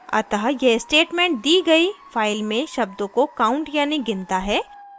* अतः यह statement दी गयी file में शब्दों को counts यानी गिनता है